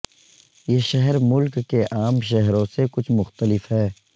یہ شہر ملک کے عام شہروں سے کچھ مختلف ہے